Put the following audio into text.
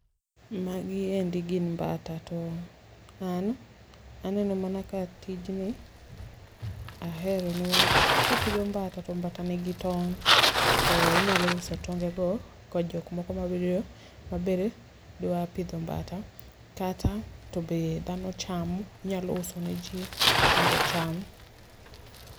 Magiendi gin mbata, to an aneno mana ka tijni ahere ne wach kipidho mbata to mbata nigi tong' to inyalo uso tonge go ko jok moko mawirio maber dwa pidho mbata kata to be dhano chamo. Inyalo use ne ji mondo ocham.